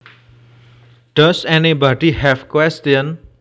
Does anybody have questions